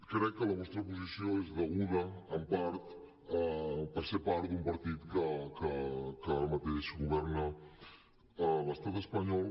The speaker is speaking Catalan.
crec que la vostra posició és deguda en part a ser part d’un partit que ara mateix governa a l’estat espanyol